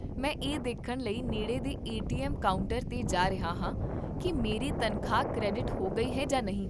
ਮੈਂ ਇਹ ਦੇਖਣ ਲਈ ਨੇੜੇ ਦੇ ਏ ਟੀ ਐੱਮ ਕਾਊਂਟਰ 'ਤੇ ਜਾ ਰਿਹਾ ਹਾਂ ਕੀ ਮੇਰੀ ਤਨਖਾਹ ਕ੍ਰੈਡਿਟ ਹੋ ਗਈ ਹੈ ਜਾਂ ਨਹੀਂ